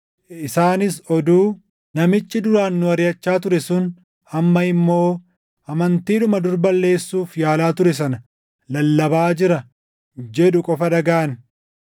Isaanis oduu, “Namichi duraan nu ariʼachaa ture sun amma immoo amantiidhuma dur balleessuuf yaalaa ture sana lallabaa jira” jedhu qofa dhagaʼan.